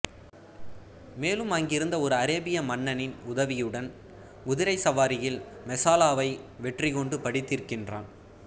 மேலும் அங்கிருந்த ஒரு அரேபிய மன்னனின் உதவியுடன் குதிரைச் சவாரியில் மெசாலாவை வெற்றி கொண்டு பழி தீர்க்கின்றான்